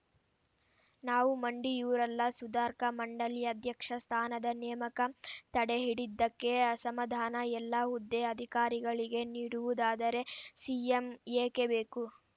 ನಾವು ಮಂಡಿಯೂರಲ್ಲ ಸುಧಾರ್‌ಕ ಮಂಡಳಿ ಅಧ್ಯಕ್ಷ ಸ್ಥಾನದ ನೇಮಕ ತಡೆಹಿಡಿದ್ದಕ್ಕೆ ಅಸಮಾಧಾನ ಎಲ್ಲ ಹುದ್ದೆ ಅಧಿಕಾರಿಗಳಿಗೆ ನೀಡುವುದಾದರೆ ಸಿಎಂ ಏಕೆ ಬೇಕು